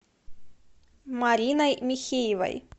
мариной михеевой